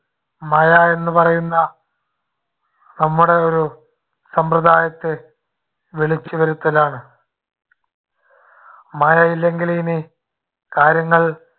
മഴയെന്നു പറയുന്ന നമ്മുടെ ഒരു സമ്പ്രദായത്തെ വിളിച്ചുവരുത്തലാണ്. മഴയില്ലെങ്കിൽ ഇനി കാര്യങ്ങൾ